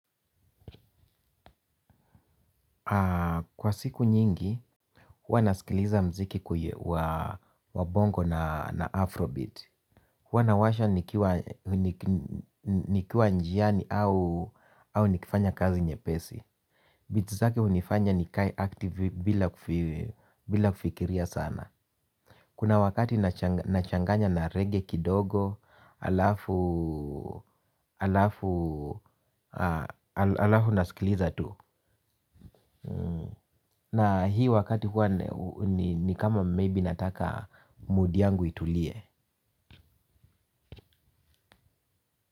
Kwa siku nyingi, huwa nasikiliza muziki wa bongo na afrobeat. Huwa nawasha nikiwa njiani au nikifanya kazi nyepesi. Beats zake hunifanya nikae active bila kufikiria sana. Kuna wakati nachanganya na reggae kidogo, alafu nasikiliza tu. Na hii wakati huwa ni kama maybe nataka mood yangu itulie.